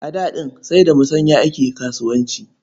A da ɗin sai da musanya ake kasuwanci.